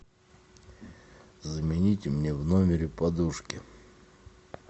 замените мне в номере подушки